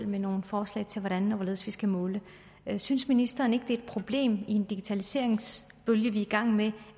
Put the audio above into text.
med nogen forslag til hvordan og hvorledes vi skal måle det synes ministeren ikke det er et problem i den digitaliseringsbølge vi er i gang med